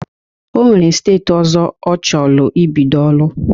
O nwere esteeti ọzọ ọ chọlụ ibido ọlụ.